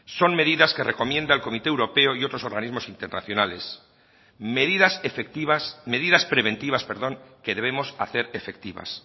son medidas que recomienda el comité europeo y otros organismos internacionales medidas preventivas que debemos hacer efectivas